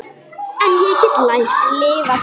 En ég get lært.